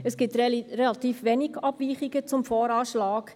Es gibt relativ wenige Abweichungen zum VA.